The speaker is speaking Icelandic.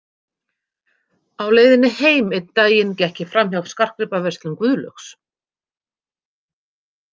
Á leiðinni heim einn daginn gekk ég framhjá Skartgripaverslun Guðlaugs.